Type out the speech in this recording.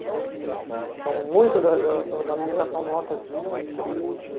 Hurum. Então, muito da alimentação nossa vinha do sítio.